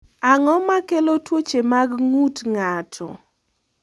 Ang’o ma kelo tuoche mag ng’ut ng’ato?